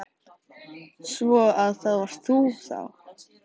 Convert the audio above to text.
Svo. að það varst þá þú?